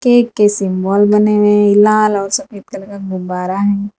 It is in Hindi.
ये किसी मॉल बने हुए हैं लाल और सफेद कलर का गुब्बारा है।